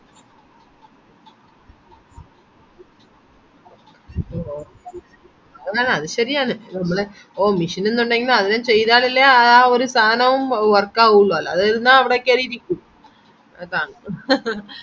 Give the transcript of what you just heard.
അ അതുശേരിയാണ് നമ്മളെ mission ന്നുണ്ടെങ്കില് അത് ചെയ്താലല്ലേ ആഹ് ഒര് സാധനവും work ആവുള്ളൂ അല്ലാതെ ഇരുന്ന അവിടെക്കേറി ഇരിക്കും അതാണ്‌